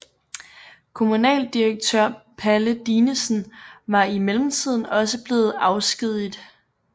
Kommunaldirektør Palle Dinesen var i mellemtiden også blevet afskediget